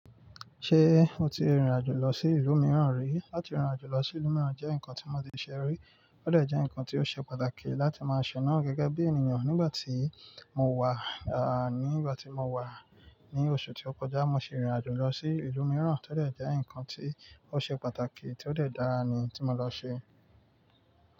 Ṣé o ti rìnrìn àjò lọ sí ìlú mìíràn rí? Lati rìnrìn àjò lọ sí ìlú mìíràn jẹ́ nǹkan tí mo ti ṣe rí, ó de jẹ́ nǹkan tí ó ṣe pàtàkì láti máa ṣe náà gẹ́gẹ́ bí ènìyàn. Nígbà tí mo wà, nígbà tí mo wà ní oṣù tó kọjá, mo ṣe irin àjò lọ sí ìlú mìíràn, tó de jẹ́ ǹkan tí ó ṣe pàtàkì tí ó de dára ni tí mo lọ ṣe.